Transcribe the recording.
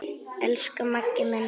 Elsku Maggi minn.